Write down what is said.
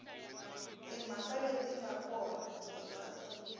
timhaka leti nga kona eka